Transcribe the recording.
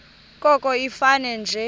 koko ifane nje